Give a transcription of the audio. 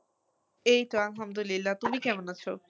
এইতো আলহামদুলিল্লাহ, তুমি কেমন আছো?